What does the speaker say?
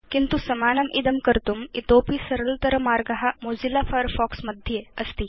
किन्तु समानम् इदं कर्तुम् इतोऽपि सरलतर मार्ग मोजिल्ला फायरफॉक्स मध्ये अस्ति